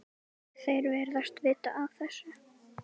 Þeir virðast vita af þessu.